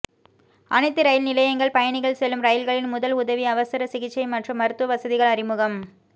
அனைத்து ரயில் நிலையங்கள் பயணிகள் செல்லும் ரயில்களில் முதல் உதவி அவசர சிகிச்சை மற்றும் மருத்துவ வசதிகள் அறிமுகம்